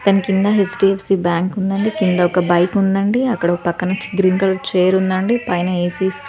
దాని కింద HDFC bank ఉంది అండి. కింద ఒక బైక్ ఉంది అండి. అక్కడ ఒక పక్కన గ్రీన్ కలర్ చైర్ ఉంది అండి. పైన ఏ సిస్--